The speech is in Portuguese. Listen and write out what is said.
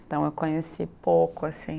Então eu conheci pouco assim.